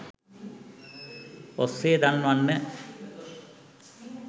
ඔස්සේ දන්වන්න.